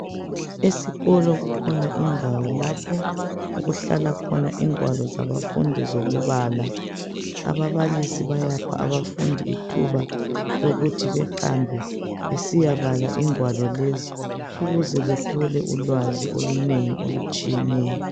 Esikolo kulhona indawo lapho okuhlala khona ingwalo zabafundi zokubala ababalisi bayapha abafundi ithuba lokuthi behambe besiya bala ingwalo lezi ukuze bethole ulwazi olunengi olutshiyeneyo